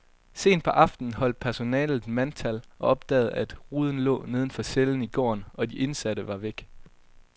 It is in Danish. Sent på aftenen holdt personalet mandtal og opdagede, at ruden lå neden for cellen i gården, og de indsatte var væk.